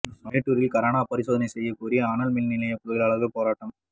மேட்டூரில் corona பரிசோதனை செய்யக் கோரி அனல் மின் நிலைய தொழிலாளா்கள் போராட்டம்